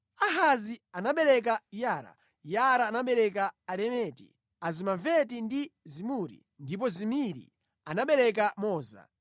Ahazi anabereka Yara, Yara anabereka Alemeti, Azimaveti ndi Zimuri, ndipo Zimiri anabereka Moza.